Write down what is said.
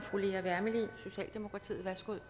fru lea wermelin socialdemokratiet